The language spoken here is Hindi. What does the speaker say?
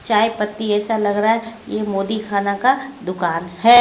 चाय पत्ती ऐसा लग रहा है ये मोदी खाना का दुकान है।